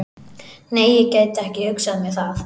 Nei, ég gæti ekki hugsað mér það.